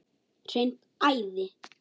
Hreint æði!